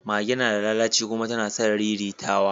Mage nada lalaci kuma tana son riritawa